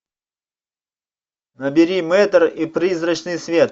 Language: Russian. набери мэтр и призрачный свет